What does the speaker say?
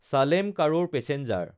চালেম–কাৰোৰ passenger